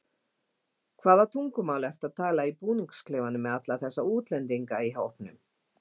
Hvaða tungumál ertu að tala í búningsklefanum með alla þessa útlendinga í hópnum?